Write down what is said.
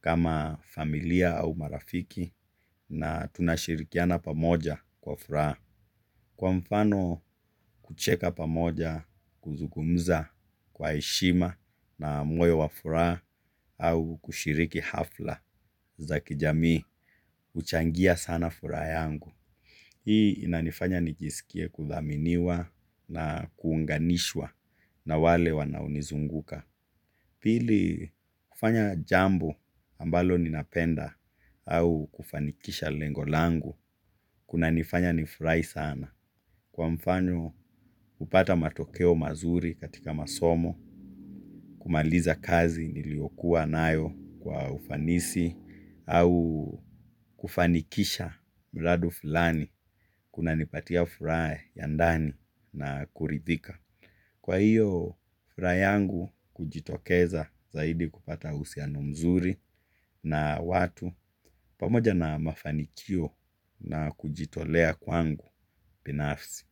kama familia au marafiki na tunashirikiana pamoja kwa furaha. Kwa mfano kucheka pamoja kuzugumza kwa eshima na moyo wa furaha au kushiriki hafla za kijamii, uchangia sana furaha yangu. Hii inanifanya nijiskie kuthaminiwa na kuunganishwa na wale wanaonizunguka. Pili kufanya jambo ambalo ninapenda au kufanikisha lengo langu, kuna nifanya nifurai sana. Kwa mfano kupata matokeo mazuri katika masomo, kumaliza kazi niliokuwa nayo kwa ufanisi, au kufanikisha mradu fulani kunanipatia furaa ya ndani na kuridhika. Kwa hiyo furaa yangu ujitokeza zaidi kupata uhusiano mzuri na watu pamoja na mafanikio na kujitolea kwangu binafsi.